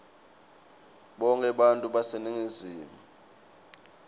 bonkhe bantfu baseningizimu